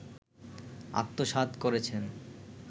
আত্মসাৎ করেছেন